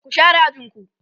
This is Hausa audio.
ku share ajinku!